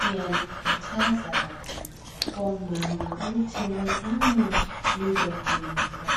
Ngiyalikhuthaza bomama ukuthi wozani lizofundiswa